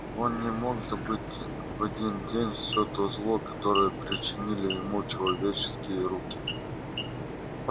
он не мог забыть в один день всё то зло которое причинили ему человеческие руки